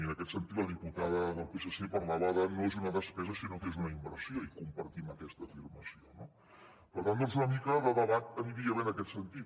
i en aquest sentit la diputada del psc parlava que no és una despesa sinó que és una inversió i compartim aquesta afirmació no per tant doncs una mica de debat aniria bé en aquest sentit